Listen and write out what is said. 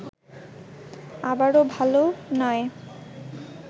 আবার ভাল নয়